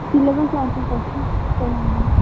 syllabus অনেক আছে তাই জন্য